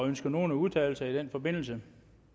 ønsker nogen at udtale sig i den forbindelse